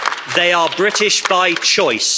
They are British by choice.